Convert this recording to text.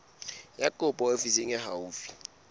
ya kopo ofising e haufi